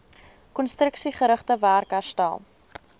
konstruksiegerigte werk herstel